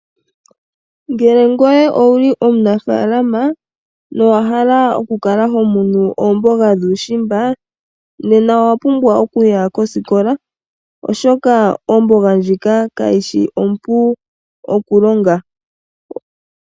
Ngele ngoye owu li omunafalama nowa hala okukala hokunu oomboga dhuushimba nena owa pumbwa okuya kosikola oshoka omboga ndjika kayishi ompu okulonga.